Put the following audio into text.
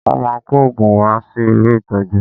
Wọ́n máa kó òògùn wá sí ilé ìtọ́jú